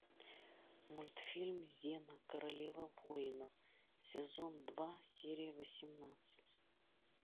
мультфильм зена королева воинов сезон два серия восемнадцать